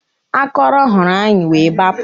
Akọrọ hụrụ anyị wee gbapụ